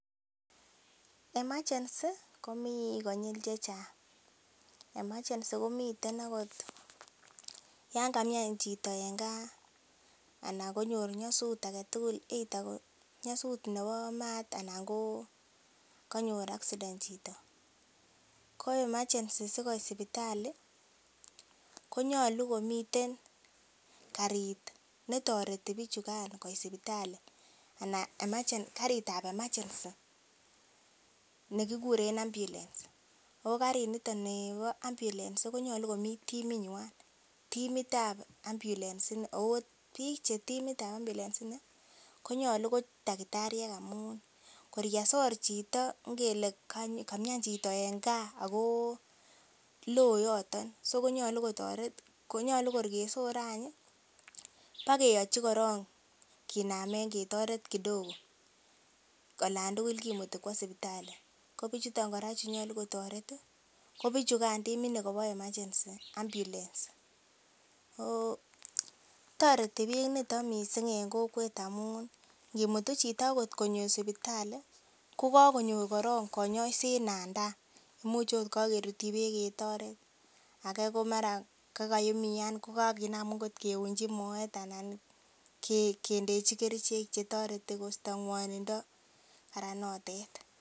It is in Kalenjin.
Emergency komii konyil chechang emergency komiten akot yan kamian chito en gaa ana konyor nyosut aketugul either ko nyosut nebo maat anan ko kanyor accident chito ko emergency sikoit sipitali konyolu komiten karit netoreti bichukan koit sipitali anan karit ab emergency nekikuren ambiulens ako karit niton nibo ambiulens konyolu komii timitnyan timitab ambiulens ini ako biik che timitab ambiulens ini konyolu ko takitariek amun kor yesor chito ngele kamian chito en gaa ako loo yoton so konyolu kotoret ko nyolu kor kesoren any ih bokeyochi koron kinamen ketoret kidogo olan tugul kimuti kwo sipitali ko bichuton kora chenyolu kotoret ih ko bichukan timit nikobo emergency ambiulens ako toreti biik niton missing en kokwet amun ngimutu chito akot konyo sipitali kokakonyor korong konyoiset nan taa imuche ot kakerutyi beek ketoret age mara kokaumian kokakinam kiunji moet anan kindechi kerichek chetoreti kosto ng'wonindo karan notet